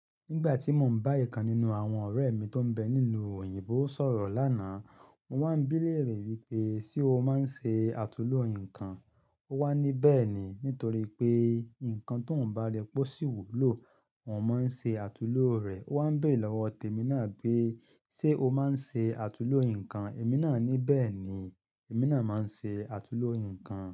Nígbà tí mo ń bá ẹ̀kan nínú àwọn ọ̀rẹ́ mi tó ń bẹ nílu òyìnbó sọ̀rọ̀ lánàá, mo wá ń bí léèrè wípé ṣe o máa ń ṣe àtulò ǹkan? Ó wá ní "bẹ́ẹ̀ni", nítorí pé ǹkan toun bá ri pe ó sì wúlò, òun máa ń ṣe àtulò rẹ̀. Ó wá ń béèrè lọ́wọ́ temi naa pé ṣe o máa ń ṣe àtulò ǹkan? Emi naa ní "bẹ́ẹ̀ni, èmi náà máa ń ṣe àtulò ǹkan".